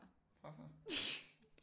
Farfar